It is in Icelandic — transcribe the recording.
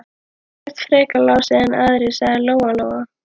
Ekkert frekar Lási en aðrir, sagði Lóa Lóa.